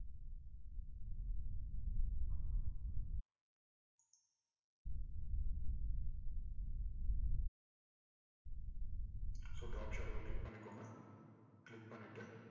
so drop shadow வ click பண்ணிகோங்க click பண்ணிட்டு